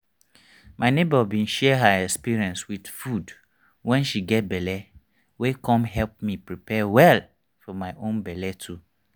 my neighbor bin share her experience with food wen she get belle wey con help me prepare well for my own belle too